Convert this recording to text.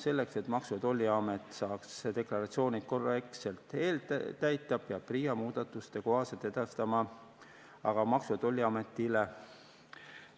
Selleks, et Maksu- ja Tolliamet saaks deklaratsioonid korrektselt eeltäita, peab PRIA muudatuste kohaselt edastama aga Maksu- ja Tolliametile